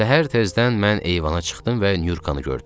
Səhər tezdən mən eyvana çıxdım və Nurkanı gördüm.